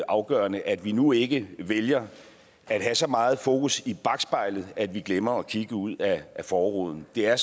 afgørende at vi nu ikke vælger at have så meget fokus i bakspejlet at vi glemmer at kigge ud ad forruden det er